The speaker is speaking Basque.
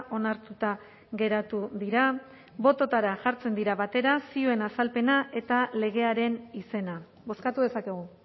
onartuta geratu dira bototara jartzen dira batera zioen azalpena eta legearen izena bozkatu dezakegu